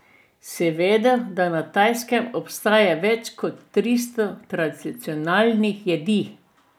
Si vedel, da na Tajskem obstaja več kot tristo tradicionalnih jedi?